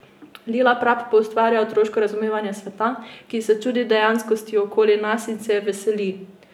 Lila Prap poustvarja otroško razumevanja sveta, ki se čudi dejanskosti okrog nas in se je veseli.